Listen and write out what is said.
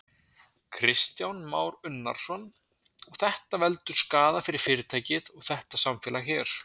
Kristján Már Unnarsson: Og þetta veldur skaða fyrir fyrirtækið og þetta samfélag hér?